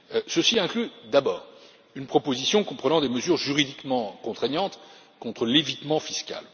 Ceci inclut, d'abord, une proposition comprenant des mesures juridiquement contraignantes contre l'évitement fiscal.